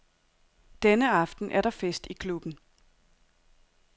Denne aften er der fest i klubben.